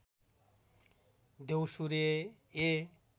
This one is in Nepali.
द्यौसुरे ए